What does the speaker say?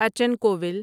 اچن کوول